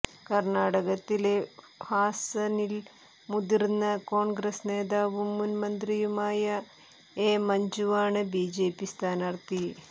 കർണാടകത്തിലെ ഹാസനിൽ മുതിർന്ന കോൺഗ്രസ് നേതാവും മുൻ മന്ത്രിയുമായ എ മഞ്ജുവാണ് ബിജെപി സ്ഥാനാർഥി